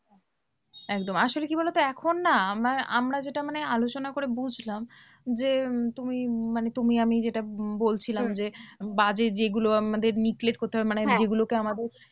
একদম আসলে কি বলো তো? এখন না আমরা আমরা যেটা মানে আলোচনা করে বুঝলাম, যে তুমি মানে তুমি আমি যেটা বলছিলাম যে বাজে যেগুলো আমাদের neglect করতে হবে, মানে যেগুলোকে আমাদের